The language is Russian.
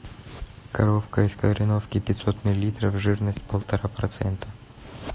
коровка из кореновки пятьсот миллилитров жирность полтора процента